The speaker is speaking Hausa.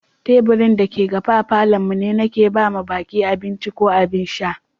Taburin da ke gafe a Falo'n mu ne Nike ba ma baki abinci ko abin sha.